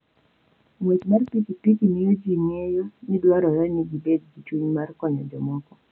Ng'wech mar pikipiki miyo ji ng'eyo ni dwarore ni gibed gi chuny mar konyo jomoko.